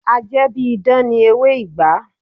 A jẹ́ bí idán ni ewé ìgbá